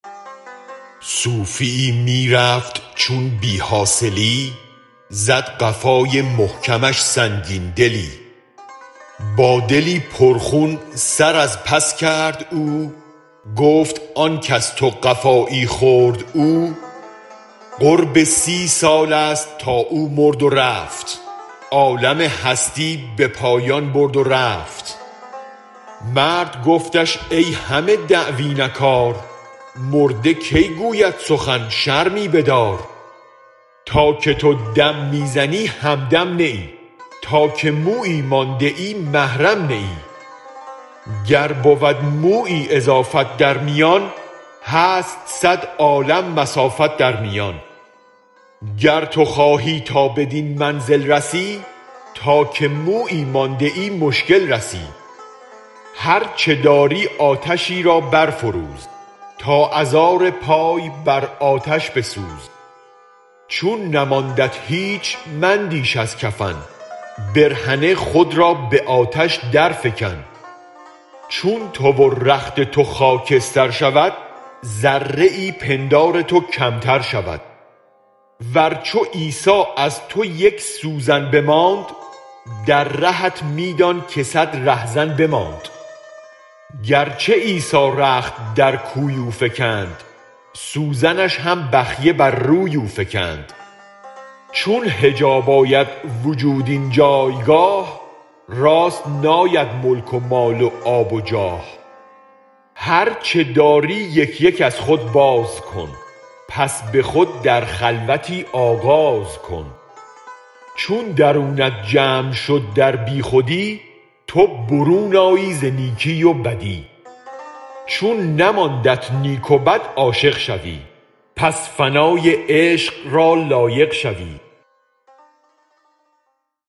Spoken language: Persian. صوفیی می رفت چون بی حاصلی زد قفای محکمش سنگین دلی با دلی پر خون سر از پس کرد او گفت آنک از تو قفایی خورد او قرب سی سالست تا او مرد و رفت عالم هستی به پایان برد و رفت مرد گفتش ای همه دعوی نه کار مرده کی گوید سخن شرمی بدار تا که تو دم می زنی هم دم نه ای تا که مویی مانده محرم نه ای گر بود مویی اضافت در میان هست صد عالم مسافت در میان گر تو خواهی تا بدین منزل رسی تا که مویی مانده مشکل رسی هرچ داری آتشی را برفروز تا ازار پای بر آتش بسوز چون نماندت هیچ مندیش از کفن برهنه خود را به آتش در فکن چون تو و رخت تو خاکستر شود ذره پندار تو کمتر شود ور چو عیسی از تو یک سوزن بماند در رهت می دان که صد ره زن بماند گرچه عیسی رخت در کوی او فکند سوزنش هم بخیه بر روی او فکند چون حجاب آید وجود این جایگاه راست ناید ملک و مال و آب و جاه هرچ داری یک یک از خود بازکن پس به خود در خلوتی آغاز کن چون درونت جمع شد در بی خودی تو برون آیی ز نیکی و بدی چون نماندت نیک و بد عاشق شوی پس فنای عشق را لایق شوی